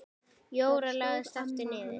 Jóra lagðist aftur niður.